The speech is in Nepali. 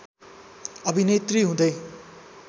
अभिनेत्री हुँदै